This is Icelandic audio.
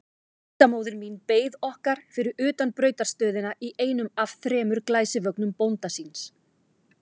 Tengdamóðir mín beið okkar fyrir utan brautarstöðina í einum af þremur glæsivögnum bónda síns.